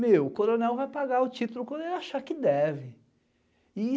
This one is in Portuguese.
Meu, o coronel vai pagar o título quando ele achar que deve.